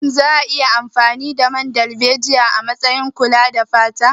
Shin za a iya amfani da man darbejiya azaman kayan kula da fata.